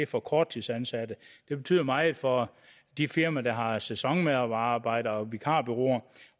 for korttidsansatte det betyder meget for de firmaer der har sæsonmedarbejdere og for vikarbureauer